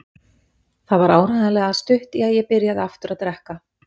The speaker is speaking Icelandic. Það var áreiðanlega stutt í að ég byrjaði aftur að drekka.